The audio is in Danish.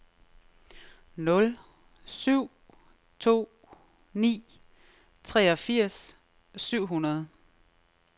nul syv to ni treogfirs syv hundrede